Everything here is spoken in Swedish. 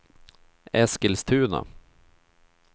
Eskilstuna